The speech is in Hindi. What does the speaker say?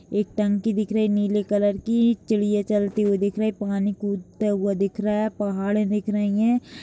एक टंकी दिख रही नीले कलर की चिड़िया चलते हुए दिख रही है पानी कूदता हुआ दिख रहा है पहाड़े दिख रही है।